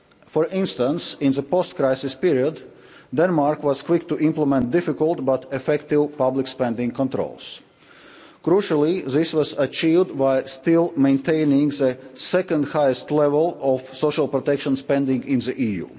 For instance, in the post crisis period Denmark was quick to implement difficult but effective public spending controls. Crucially this was achieved by still maintaining the second highest level of social protection spending in the EU.